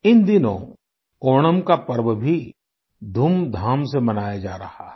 इन दिनों ओणम का पर्व भी धूमधाम से मनाया जा रहा है